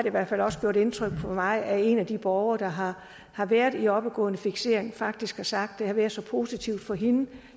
i hvert fald også gjort indtryk på mig at en af de borgere der har har været i oppegående fiksering faktisk har sagt at det har været så positivt for hende